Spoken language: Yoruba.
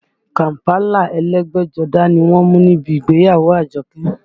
Kàm̀pálà ẹlẹ́gbẹ́jọdá ni wọ́n mú níbi ìgbéyàwó Àjọkẹ́